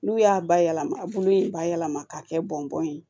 N'u y'a bayɛlɛma a bolo in bayɛlɛma k'a kɛ bɔn ye